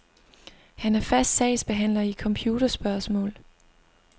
Han er fast sagsbehandler i computerspørgsmål.